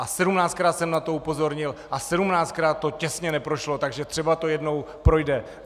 A sedmnáctkrát jsem na to upozornil a sedmnáctkrát to těsně neprošlo, takže třeba to jednou projde.